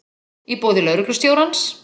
í boði lögreglustjórans.